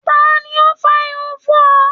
Ta ni ó ń fá irun fún ọ?